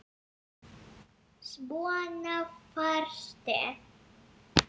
Svona varstu.